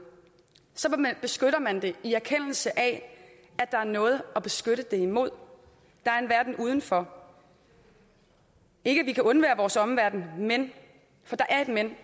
beskytter man det i erkendelse af at der er noget at beskytte det imod der er en verden udenfor ikke at vi kan undvære vores omverden men for der er et men